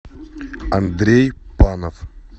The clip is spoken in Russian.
андрей панов